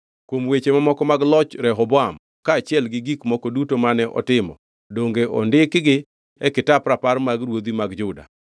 Kuom weche mamoko mag loch Rehoboam, kaachiel gi gik moko duto mane otimo, donge ondikgi e kitap rapar mag ruodhi mag Juda?